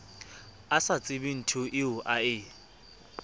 a sa tsebenthoeo a e